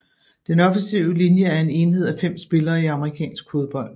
Den offensive linje er en enhed af 5 spillere i amerikansk fodbold